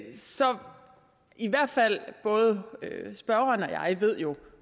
i hvert fald både spørgeren og jeg jo